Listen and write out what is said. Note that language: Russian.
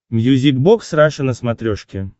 мьюзик бокс раша на смотрешке